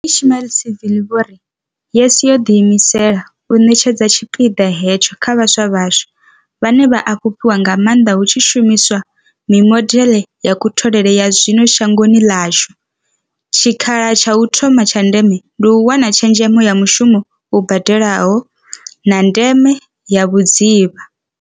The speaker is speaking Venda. Vho Ismail-Saville vho ri, YES yo ḓiimisela u ṋetshedza tshipiḓa hetsho kha vhaswa vhashu, vhane vha a fhufhiwa nga maanḓa hu tshi shumiswa mimodeḽe ya kutholele ya zwino shangoni ḽashu, tshikha la tsha u thoma tsha ndeme ndi u wana tshezhemo ya mushumo u badelaho, na ndeme ya vhudzivha.